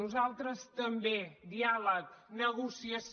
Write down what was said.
nosaltres també diàleg negociació